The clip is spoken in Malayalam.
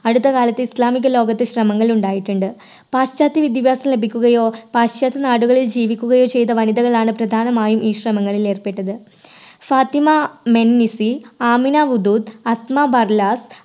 അടുത്തകാലത്ത് ഇസ്ലാമിക ലോകത്ത് ശ്രമങ്ങൾ ഉണ്ടായിട്ടുണ്ട്. പാശ്ചാത്യ വിദ്യാഭ്യാസം ലഭിക്കുകയോ പാശ്ചാത്യ നാടുകളിൽ ജീവിക്കുകയോ ചെയ്ത വനിതകളാണ് പ്രധാനമായി ഈ ശ്രമങ്ങളിൽ ഏർപ്പെട്ടത് ഫാത്തിമ മെന്നിസി, ആമിന ഉദൂദ്,